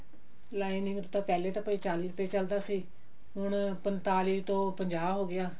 lining ਤਾਂ ਪਹਿਲੇ ਤਾਂ ਭਾਈ ਚਾਲੀ ਰੁਪੇ ਚੱਲਦਾ ਸੀ ਹੁਣ ਪੰਤਾਲੀ ਤੋਂ ਪੰਜਾਹ ਹੋਗਿਆ